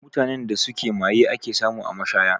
Mutanen da suke maye ake samu a mashaya